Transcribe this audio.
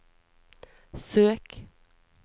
søk